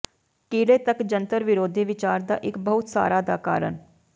ਕੀੜੇ ਤੱਕ ਜੰਤਰ ਵਿਰੋਧੀ ਵਿਚਾਰ ਦਾ ਇੱਕ ਬਹੁਤ ਸਾਰਾ ਦਾ ਕਾਰਨ